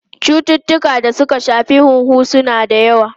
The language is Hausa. Cututtukan da suka shafi huhu suna da yawa.